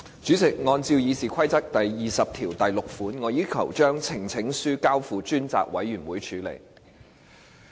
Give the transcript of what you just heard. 主席，按照《議事規則》第206條，我要求將呈請書交付專責委員會處理。